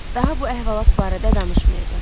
Daha bu əhvalat barədə danışmayacam.